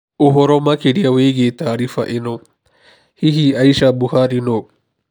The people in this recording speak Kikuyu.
Ũhoro makĩria wĩgiĩ taariba ĩno. Hihi Aisha Buhari nũũ?